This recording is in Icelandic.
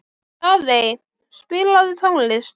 Daðey, spilaðu tónlist.